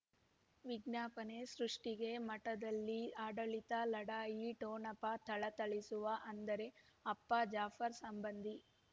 ವಿಜ್ಞಾಪನೆ ಸೃಷ್ಟಿಗೆ ಮಠದಲ್ಲಿ ಆಡಳಿತ ಲಢಾಯಿ ಠೊಣಪ ಥಳಥಳಿಸುವ ಅಂದರೆ ಅಪ್ಪ ಜಾಫರ್ ಸಂಬಂಧಿ